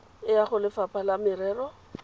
e ya golefapha la merero